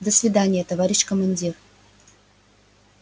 до свидания товарищ командир